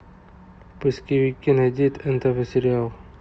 в поисковике найди нтв сериал